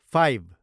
five